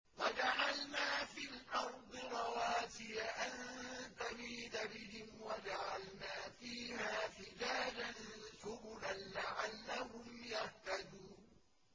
وَجَعَلْنَا فِي الْأَرْضِ رَوَاسِيَ أَن تَمِيدَ بِهِمْ وَجَعَلْنَا فِيهَا فِجَاجًا سُبُلًا لَّعَلَّهُمْ يَهْتَدُونَ